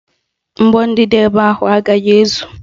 Mgbọ dị n'ebe ahụ agaghị ezu